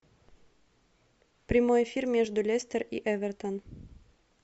прямой эфир между лестер и эвертон